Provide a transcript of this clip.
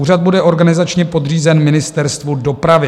Úřad bude organizačně podřízen Ministerstvu dopravy.